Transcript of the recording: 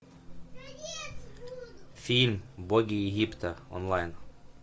фильм боги египта онлайн